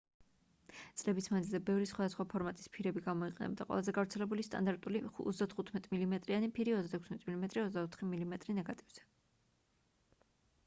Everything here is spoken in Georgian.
წლების მანძილზე ბევრი სხვადასხვა ფორმატის ფირები გამოიყენებოდა. ყველაზე გავრცელებული სტანდარტული 35 მმ-იანი ფირი 36 მმ 24 მმ ნეგატივზე